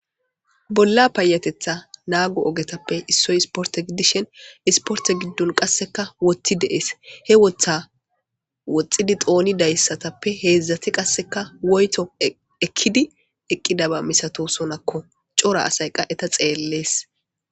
Bolla payatetha naago ogetappe issoy isporte giddishen isporte giddon qasseka woti deees he wotha woxxidi xooni dayssatappe heedzdzati qasseka woyto ekkidi eqqidaba misato sonakko cora asayqa eta xeellees.